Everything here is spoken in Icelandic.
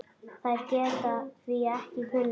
Þær geta því ekki kulnað.